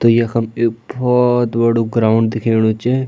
तो यखम एक बहौत बड़ू ग्राउंड दिखेणु च।